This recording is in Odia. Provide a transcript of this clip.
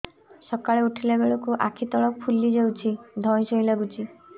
ସକାଳେ ଉଠିଲା ବେଳକୁ ଆଖି ତଳ ଫୁଲି ଯାଉଛି ଧଇଁ ସଇଁ ଲାଗୁଚି